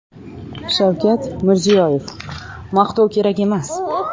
Shavkat Mirziyoyev: Maqtov kerak emas.